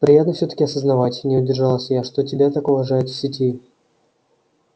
приятно всё-таки осознавать не удержалась я что тебя так уважают в сети